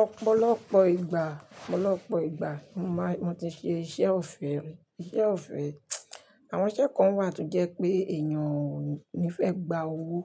Ọ̀pọ̀lọpọ̀ ìgbà, ọ̀pọ̀lọpọ̀ ìgbà mo máa n tí ṣe iṣẹ́ ọ̀fẹ́, iṣẹ́ ọ̀fẹ́. Àwọn iṣẹ́ kan wà tó jẹ́ pé èèyàn ò ní fẹ́ gba owó,